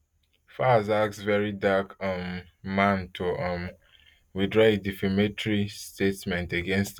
falz ask very dark um man to um withdraw di defamatory statement against